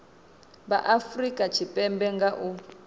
vha afurika tshipembe nga u